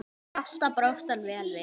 Alltaf brást hann vel við.